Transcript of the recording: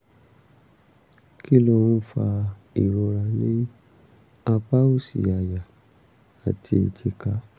kí ló ń fa ìrora ní apá òsì àyà àti èjìká?